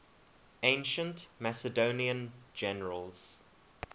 ancient macedonian generals